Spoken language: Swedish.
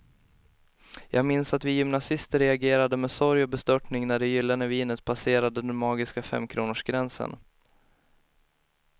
Jag minns att vi gymnasister reagerade med sorg och bestörtning när det gyllene vinet passerade den magiska femkronorsgränsen.